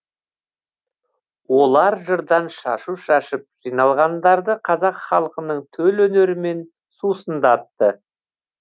олар жырдан шашу шашып жиналғандарды қазақ халқының төл өнерімен сусындатты